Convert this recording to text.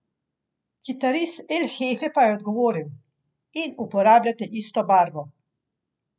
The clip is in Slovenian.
Kitarist El Hefe pa je odgovoril: "In uporabljate isto barvo.